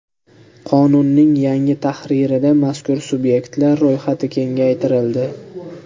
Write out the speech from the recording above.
Qonunning yangi tahririda mazkur sub’ektlar ro‘yxati kengaytirildi.